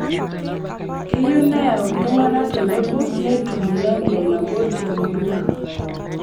Keyieu neyau ltung'ana tenebo netum lengo nabo te murua